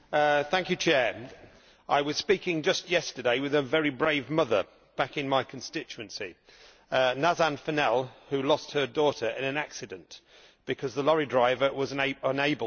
Mr President, I was speaking just yesterday with a very brave mother back in my constituency, Nazan Fennell, who lost her daughter in an accident because the lorry driver was unable to see her.